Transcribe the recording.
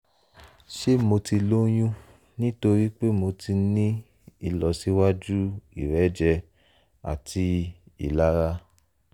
ṣé mo ti lóyún nítorí pé mo ti ń ní ìlọsíwájú ìrẹ́jẹ àti ìlara?